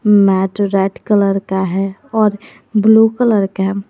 mat red colour का है और ब्लू कलर का--